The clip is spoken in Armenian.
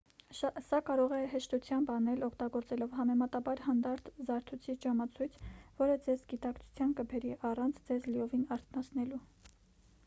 սա կարող է հեշտությամբ անել օգտագործելով համեմատաբար հանդարտ զարթուցիչ-ժամացույց որը ձեզ գիտակցության կբերի առանց ձեզ լիովին արթնացնելու